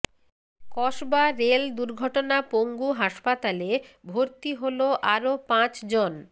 Kasba rail দুর্ঘটনা পঙ্গু হাসপাতালে ভর্তি হলো আরও পাঁচজন